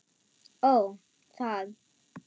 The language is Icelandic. Ó, það.